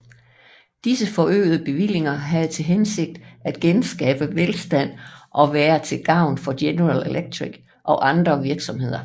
Disse forøgede bevillinger havde til hensigt at genskabe velstand og være til gavn for General Electric og alle virksomheder